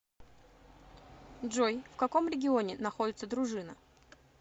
джой в каком регионе находится дружина